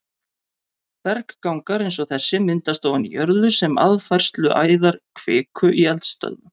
Berggangar eins og þessi myndast ofan í jörðu sem aðfærsluæðar kviku í eldstöðvum.